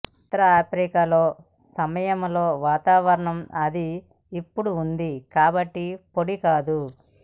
ఉత్తర Africa లో సమయంలో వాతావరణం అది ఇప్పుడు ఉంది కాబట్టి పొడి కాదు